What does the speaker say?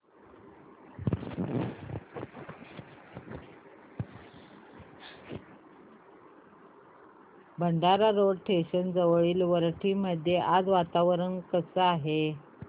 Bhandara road station जवळील वरठी मध्ये आज वातावरण कसे आहे